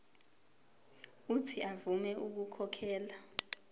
uuthi avume ukukhokhela